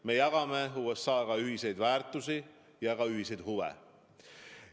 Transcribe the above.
Me jagame USA-ga ühiseid väärtusi ja ühiseid huve.